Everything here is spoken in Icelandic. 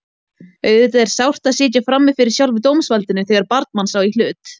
Auðvitað er sárt að sitja frammi fyrir sjálfu dómsvaldinu þegar barn manns á í hlut.